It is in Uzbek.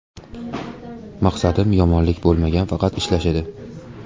Maqsadim yomonlik bo‘lmagan, faqat ishlash edi.